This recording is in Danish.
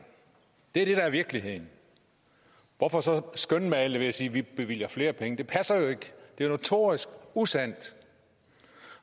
det er det der er virkeligheden hvorfor så skønmale det ved at sige at vi bevilger flere penge det passer jo ikke det er notorisk usandt